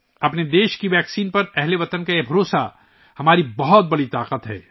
ہمارے ملک کی ویکسین پر ہم وطنوں کا یہ اعتماد ہماری بڑی طاقت ہے